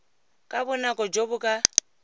ka bonako jo bo ka